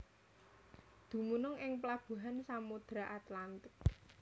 Dumunung ing pelabuhan Samudra Atlantik